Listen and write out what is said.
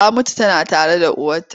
Ta mutu tana tare da uwarta.